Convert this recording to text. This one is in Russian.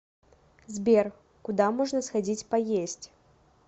сбер куда можно сходить поесть